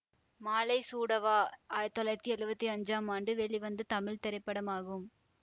மாலை சூட வா ஆயிரத்தி தொள்ளாயிரத்தி எழுவத்தி அஞ்சாம் ஆண்டு வெளிவந்த தமிழ் திரைப்படமாகும்